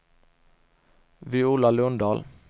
Viola Lundahl